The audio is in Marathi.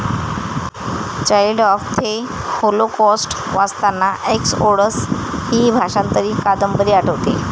चाईल्ड ऑफ थे होलोकॉस्ट ' वाचताना 'एक्सओडस ' हि भाषांतरित कादंबरी आठवते.